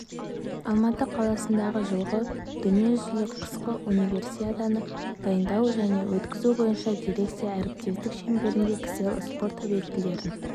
алматы қаласындағы жылғы дүниежүзілік қысқы универсиаданы дайындау және өткізу бойынша дирекция әріптестік шеңберінде кселл спорт объектілерін